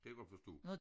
Det godt forstå